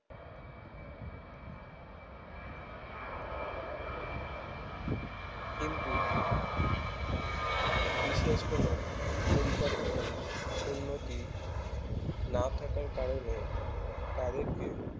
কিন্তু বিশেষ কোনো পরিকাঠামোর উন্নতি না থাকার কারণে তাদেরকে